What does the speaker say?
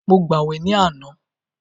Mo gbàwè ní àná.